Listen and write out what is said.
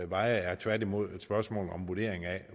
veje er tværtimod et spørgsmål om en vurdering af